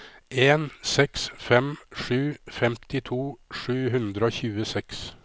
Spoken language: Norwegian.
en seks fem sju femtito sju hundre og tjueseks